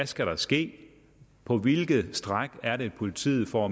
skal ske på hvilke stræk er det at politiet får